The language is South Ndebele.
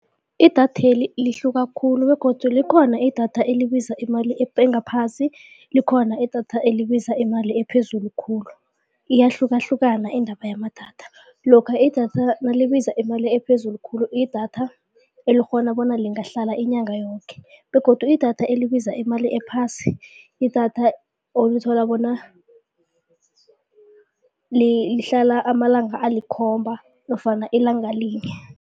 Idatheli lihluka khulu begodu likhona idatha elibiza imali engaphasi likhona idatha libiza imali ephezulu khulu iyahlukahlukana indaba yamadatha. Lokha idatha nalibiza imali ephezulu khulu idatha elikghona bona lingahlala inyanga yoke begodu idatha elibiza imali ephasi idatha olithola bona lihlala amalanga alikhomba nofana ilanga linye.